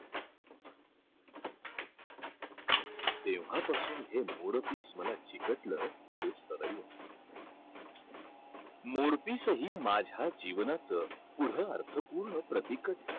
तेव्हापासून हे मोरपिस मला चिकटलं ते सदैव. मोरपिसही माझ्या जीवनाचं पुढं अर्थपूर्ण प्रतीकच झालं.